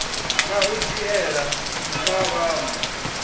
na u dzhiela ntha vhanwe